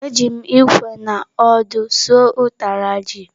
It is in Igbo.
Eji m ikwe na ọdụ suo ụtara ji.